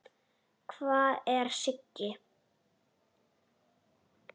Hvar er Siggi?